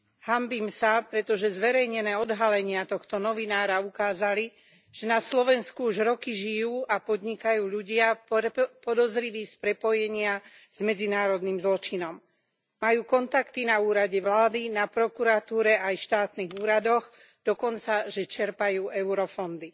Hanbím sa, pretože zverejnené odhalenia tohto novinára ukázali, že na Slovensku už roky žijú a podnikajú ľudia podozriví z prepojenia s medzinárodným zločinom. Majú kontakty na úrade vlády, na prokuratúre aj štátnych úradoch, dokonca čerpajú eurofondy.